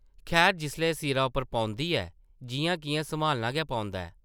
खैर जिसलै सिरा पर पौंदी ऐ, जिʼयां-किʼयां सम्हालना गै पौंदा ऐ ।